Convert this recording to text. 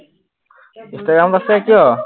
Instagram আছে কিয়?